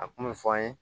A kun bɛ fɔ an ye